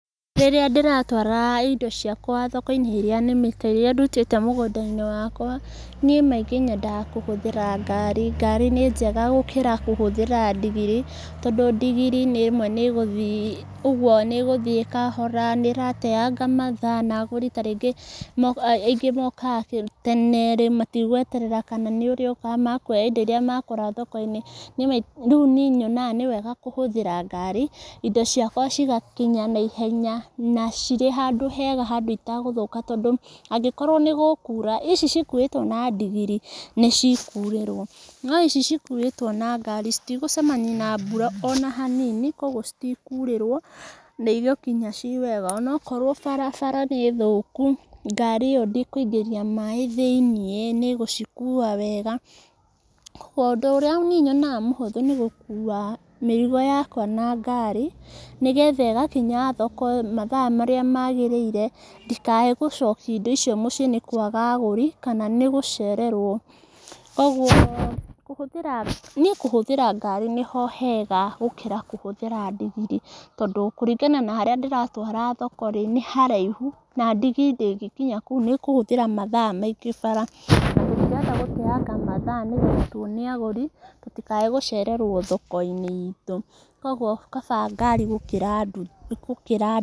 Rĩrĩa ndĩratwara indo ciakwa thoko-inĩ iria nĩmĩte, irĩa ndũtĩte mũgũnda-inĩ wakwa, niĩ maingĩ yendaga kũhũthĩra ngari, ngari nĩ njega gũkĩra kũhũthĩra ndigiri, tondũ ndigiri rĩmwe nĩ ĩgũthiĩ ũguo nĩ ũgũthiĩ kahora, nĩ ĩrateanga mathaa, na agũri ta rĩngĩ mo aingĩ mokaga tene, rĩ matigweterera kana nĩ ũrĩuka, mekwoya indo iria makora thoko-inĩ, rĩu niĩ yonaga nĩ wega kũhũthĩra ngari, indo ciakwa cigakinya na ihenya, na cirĩ handũ hega, handũ itegũthũka tondu angĩkorwo nĩ gũkura ici cikuĩtwo nĩ ndigiri, nĩ cikurĩrwo, no ici cikuĩtwo na ngari, citigũcemania na mbura ona hanini, koguo citikurĩrwo, na igũkinya ciwega onokorwo barabara nĩ thũku, ngari ĩyo ndĩkũingĩria maĩ thĩiniĩ, nĩ ĩgũcikuwa wega, ũndũ ũria niĩ yonaga mũhũthũ nĩ gũkuwa mĩrigo yakwa na ngari, nĩgetha igakinya thoko mathaa marĩa magĩrĩire, ndikae gũcokia indo icio mũciĩ nĩ kwaga agũri, kana nĩ gũcererwo, koguo, kũhũthĩra, niĩ kũhũthĩra ngari nĩho hega, gũkĩra kũhũthĩra ndigiri, tondũ kũringana na harĩa ndĩratwara thoko ri, nĩ haraihu, na ndigiri ndĩngĩkinya kũu, nĩ ĩkũhũthĩra mathaa maingĩ bara, na tũtirenda gũteanga mathaa nĩgetha tuone agũri, tũtikaĩ gũcererwo thoko-inĩ itũ, koguo kabata ngari gũkĩra ndu, gũkĩra...